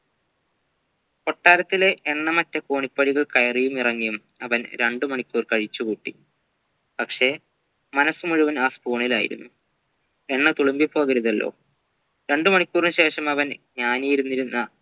കൊട്ടാരത്തിലെ എണ്ണമറ്റ കോണിപ്പടികൾ കയറിയും ഇറങ്ങിയും അവൻ രണ്ട് മണിക്കൂർ കഴിച്ചു കൂട്ടി പക്ഷെ മനസ്സ് മുഴുവൻ ആ spoon ലായിരുന്നു എണ്ണ തുളുമ്പിപ്പോകരുതല്ലോ രണ്ടു മണിക്കൂറിനു ശേഷം അവൻ ജ്ഞാനി ഇരുന്നിരുന്ന